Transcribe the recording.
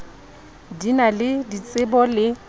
di na le ditsebo le